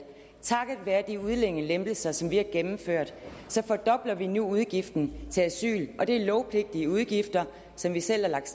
takket være de udlændingelempelser som vi har gennemført så fordobler vi nu udgiften til asyl og det er lovpligtige udgifter som vi selv har lagt